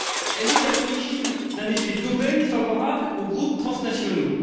Elle est à l'origine d'un effet d'aubaine favorable aux groupes transnationaux.